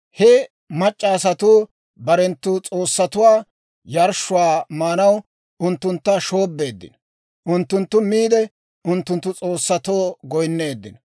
He mac'c'a asatuu barenttu s'oossatuwaa yarshshuwaa maanaw unttuntta shoobbeeddino; unttunttu miide, unttunttu s'oossatoo goyinneeddino.